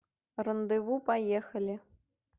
рандеву поехали